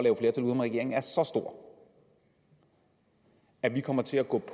regeringen er så stor at de kommer til at gå